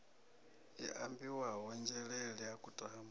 i ambiwaho nzhelele ha kutama